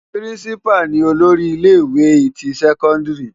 Pirinsipá ni ólóri ile iwé ti sèkóndiri